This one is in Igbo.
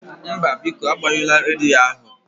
Mba, biko agbanyụla rediyo ahụ